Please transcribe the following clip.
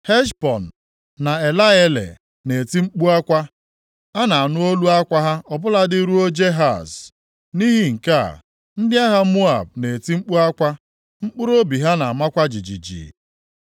Heshbọn na Eleale na-eti mkpu akwa, a na-anụ olu akwa ha ọ bụladị ruo Jehaz. Nʼihi nke a, ndị agha Moab na-eti mkpu akwa, mkpụrụobi ha na-amakwa jijiji.